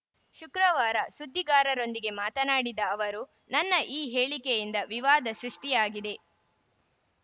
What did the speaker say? ಶುಕ್ರವಾರ ಸುದ್ದಿಗಾರರೊಂದಿಗೆ ಮಾತನಾಡಿದ ಅವರು ನನ್ನ ಈ ಹೇಳಿಕೆಯಿಂದ ವಿವಾದ ಸೃಷ್ಟಿಯಾಗಿದೆ